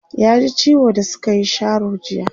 ya ji ciwo da sukayi Sharo jiya